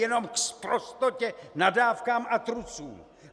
Jenom k sprostotě, nadávkám a trucům!